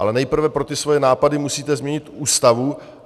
Ale nejprve pro ty svoje nápady musíte změnit Ústavu.